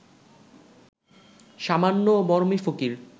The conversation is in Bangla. সামান্য মরমি ফকির